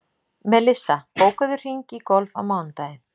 Melissa, bókaðu hring í golf á mánudaginn.